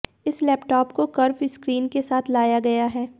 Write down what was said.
इस लैपटॉप को curve screen के साथ लाया गया है